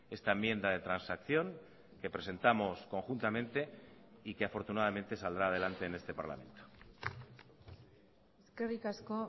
esta enmienda de transacción que presentamos conjuntamente y que afortunadamente saldrá adelante en este parlamento eskerrik asko